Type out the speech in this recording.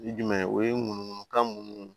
Jumɛn o ye munumunu kan mun ye